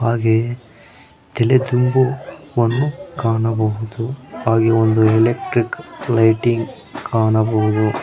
ಹಾಗೆ ತೆಲೆದಿಂಬುವನ್ನು ಕಾಣಬಹುದು ಹಾಗೆ ಒಂದು ಎಲೆಕ್ಟ್ರಿಕ್ ಲೈಟಿಂಗ್ ಕಾಣಬಹುದು.